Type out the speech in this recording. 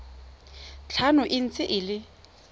tlhano e ntse e le